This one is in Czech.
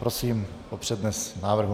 Prosím o přednes návrhu.